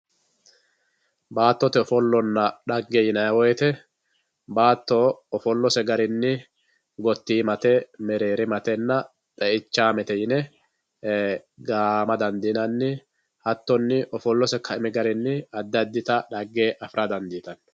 Baatote offolonna xage yinnanni woyite baato ofoolose garinni gottiimate mereerimatenna xeeichamete yine gaama dandinnanni, hatonni ofolose kaimi garinni adi adi xage afira danditano.